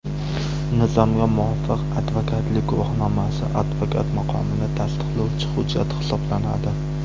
Nizomga muvofiq, advokatlik guvohnomasi advokat maqomini tasdiqlovchi hujjat hisoblanadi.